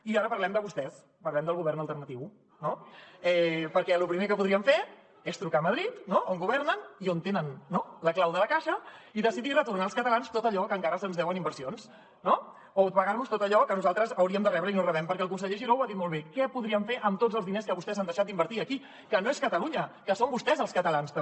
i ara parlem de vostès parlem del govern alternatiu no perquè lo primer que podríem fer és trucar a madrid on governen i on tenen la clau de la caixa i decidir retornar als catalans tot allò que encara se’ns deu en inversions no o pagar nos tot allò que nosaltres hauríem de rebre i no rebem perquè el conseller giró ho ha dit molt bé què podríem fer amb tots els diners que vostès han deixat d’invertir aquí que no és catalunya que són vostès els catalans també